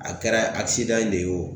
A kɛra de ye o